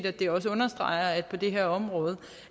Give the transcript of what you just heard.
at det understreger at vi på det her område